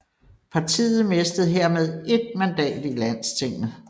Partiet mistede hermed ét mandat i landstinget